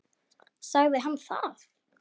Sagði hann það?